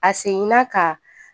A seginna ka